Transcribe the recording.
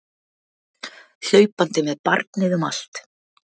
Hlaupandi með barnið um allt!